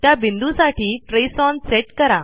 त्या बिंदूसाठी trace on set करा